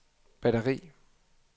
batteri